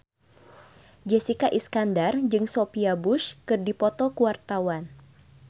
Jessica Iskandar jeung Sophia Bush keur dipoto ku wartawan